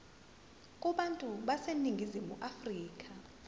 kubantu baseningizimu afrika